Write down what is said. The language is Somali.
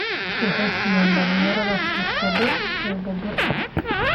Waxay siiyaan dhalinyarada fursado tababar.